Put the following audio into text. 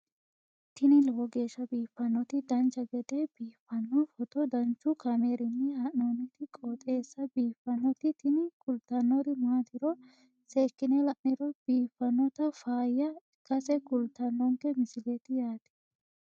tini lowo geeshsha biiffannoti dancha gede biiffanno footo danchu kaameerinni haa'noonniti qooxeessa biiffannoti tini kultannori maatiro seekkine la'niro biiffannota faayya ikkase kultannoke misileeti yaate